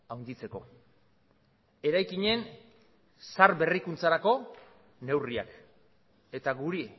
handitzeko eraikinen zahar berrikuntzarako neurriak eta guri